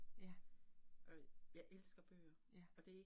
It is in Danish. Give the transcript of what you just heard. Ja. Ja